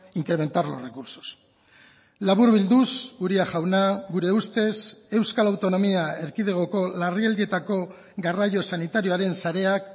incrementar los recursos laburbilduz uria jauna gure ustez euskal autonomia erkidegoko larrialdietako garraio sanitarioaren sareak